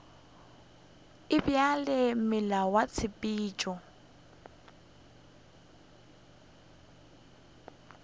e bjalo meela ya tshepetšo